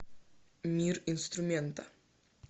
мир инструмента